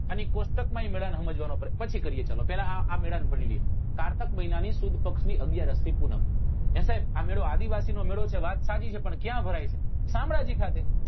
અને એ કોષ્ટક માં એ મેળા ને સમજવા નો આપડે પછી કરીએ ચલો પેલા આ મેળા ને ભાણી લઈએ કારતક મહિના ની સુદ પક્ષ ની અગિયારસ થી પૂનમ હે સાહેબ આ મેળો આદિવાસી નો મેળો છે વાત સાચી છે પણ ક્યા ભરાય છે શામળાજી ખાતે